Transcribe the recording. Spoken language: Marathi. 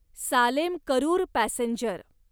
सालेम करूर पॅसेंजर